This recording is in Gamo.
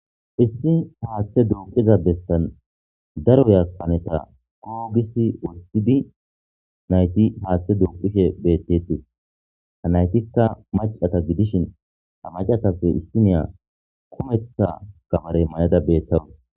issi haaththe duuqiza bestan daro yakkaneta koogisi wostidi nayti haaththe duuqishe bettetis ha naytikka macata gidishin hamacatappe istiniya kumetha gamare may7ada beettaro